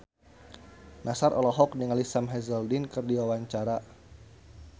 Nassar olohok ningali Sam Hazeldine keur diwawancara